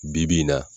Bi-bi in na